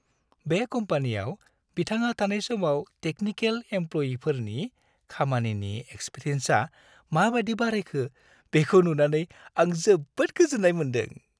बे कम्पानियाव बिथाङा थानाय समाव टेकनिकेल एमप्ल'यिफोरनि खामानिनि एक्सपिरियेन्सआ माबायदि बारायखो, बेखौ नुनानै आं जोबोद गोजोन्नाय मोनदों।